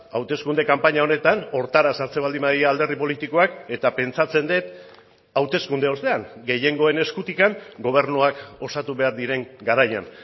hauteskunde kanpaina honetan horretara sartzen baldin badira alderdi politikoak eta pentsatzen dut hauteskunde ostean gehiengoen eskutik gobernuak osatu behar diren garaian